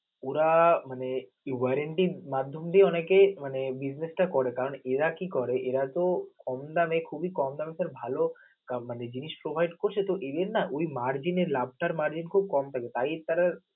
ওরা মানে warranty মাধ্যম দিয়ে অনেকে মানে business করে কারণ এরাকি করে এটা কম দামে, খুবি কমদমে sir ভালো মানে জিনিস provide করছে তো এদের না ওই margin এ লাভ টার margin কম পাবে, তাই তারা